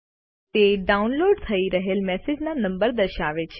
તે ડાઉનલોડ થઈ રહેલ મેસેજના નંબર દર્શાવે છે